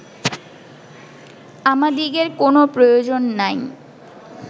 আমাদিগের কোনও প্রয়োজন নাই